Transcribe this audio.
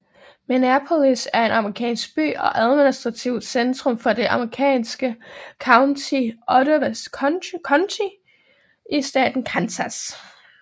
Minneapolis er en amerikansk by og administrativt centrum for det amerikanske county Ottawa County i staten Kansas